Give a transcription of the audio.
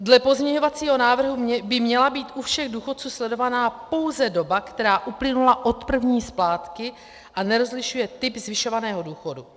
Dle pozměňovacího návrhu by měla být u všech důchodců sledovaná pouze doba, která uplynula od první splátky, a nerozlišuje typ zvyšovaného důchodu.